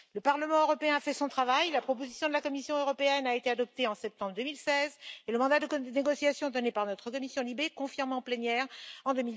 Le Parlement européen a fait son travail, la proposition de la Commission européenne a été adoptée en septembre 2016 et le mandat de négociation donné par notre commission LIBE a été confirmé en plénière, en